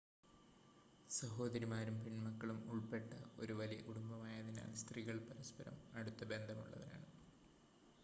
സഹോദരിമാരും പെൺമക്കളും ഉൾപ്പെട്ട ഒരു വലിയ കുടുംബം ആയതിനാൽ സ്ത്രീകൾ പരസ്‌പരം അടുത്ത ബന്ധമുള്ളവരാണ്